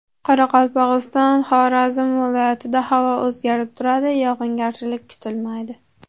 Qoraqalpog‘iston, Xorazm viloyatida havo o‘zgarib turadi, yog‘ingarchilik kutilmaydi.